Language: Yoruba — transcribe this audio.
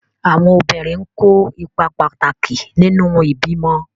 Àwọn obìnrin n kó ipa pàtàkì nínu ìbímọ